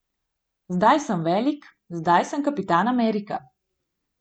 Zdaj sem velik, zdaj sem Kapitan Amerika.